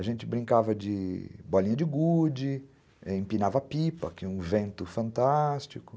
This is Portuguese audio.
A gente brincava de bolinha de gude, empinava pipa, tinha um vento fantástico.